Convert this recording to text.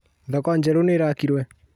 Thoko njeru nĩ ĩraakwo.